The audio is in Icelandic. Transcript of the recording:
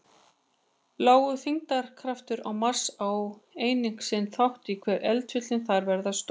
Lágur þyngdarkraftur á Mars á einnig sinn þátt í hve eldfjöllin þar verða stór.